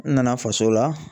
N nana faso la.